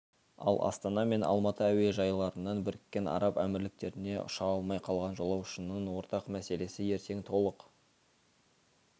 ал астана мен алматы әуежайларынан біріккен араб әмірліктеріне ұша алмай қалған жолаушының ортақ мәселесі ертең толық